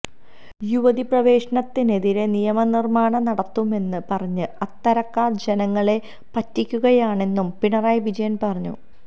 യുവതീ പ്രവേശനത്തിനെതിരെ നിയമനിര്മ്മാണം നടത്തുമെന്ന് പറഞ്ഞ് അത്തരക്കാര് ജനങ്ങളെ പറ്റിക്കുകയാണെന്നും പിണറായി വിജയന് പറഞ്ഞു